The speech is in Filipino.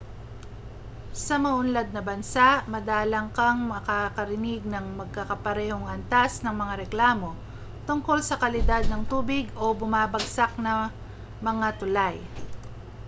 sa mauunlad na bansa madalang kang makakarinig ng magkakaparehong antas ng mga reklamo tungkol sa kalidad ng tubig o bumabagsak na mga tulay